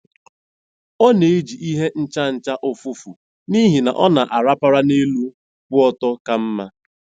Ọ na-eji ihe nchacha ụfụfụ n'ihi na ọ na-arapara n'elu kwụ ọtọ ka mma.